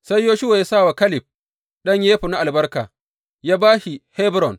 Sai Yoshuwa ya sa wa Kaleb ɗan Yefunne albarka, ya ba shi Hebron.